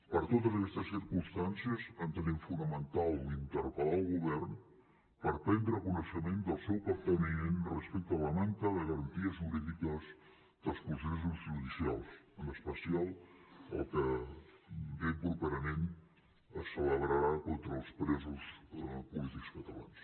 per totes aquestes circumstàncies entenem fonamental interpel·lar el govern per prendre coneixement del seu capteniment respecte a la manca de garanties jurídiques dels processos judicials en especial el que ben properament es celebrarà contra els presos polítics catalans